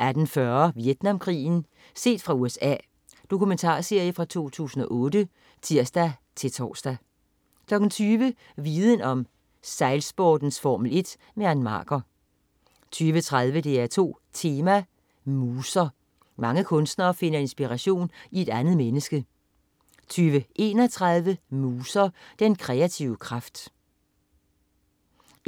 18.40 Vietnamkrigen. Set fra USA. Dokumentarserie fra 2008 (tirs-tors) 20.00 Viden om: Sejlsportens Formel 1. Ann Marker 20.30 DR2 Tema: Muser. Mange kunstnere finder inspiration i et andet menneske 20.31 Muser. Den kreative kraft